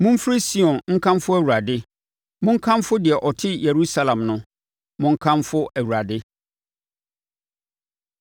Momfiri Sion nkamfo Awurade, monkamfo deɛ ɔte Yerusalem no. Monkamfo Awurade.